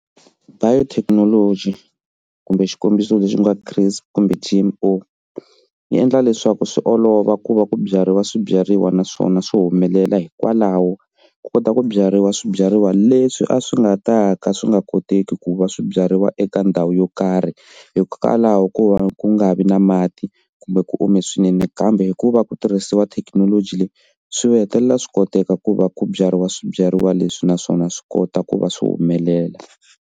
Biotechnology kumbe xikombiso lexi nga CRISPR kumbe ti G_M_O yi endla leswaku swi olova ku va ku byariwa swibyariwa naswona swi humelela hikwalaho ku kota ku byariwa swibyariwa leswi a swi nga ta ka swi nga koteki ku va swibyariwa eka ndhawu yo karhi hikokwalaho ko va ku nga vi na mati kumbe ku ome swinene kambe hikuva ku tirhisiwa thekinoloji leyi swi hetelela swi koteka ku va ku byariwa swibyariwa leswi naswona swi kota ku va swi humelela.